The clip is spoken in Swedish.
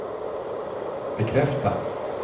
bekräfta